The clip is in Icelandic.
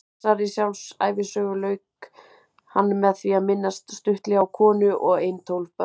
Þessari sjálfsævisögu lauk hann með því að minnast stuttlega á konu og ein tólf börn.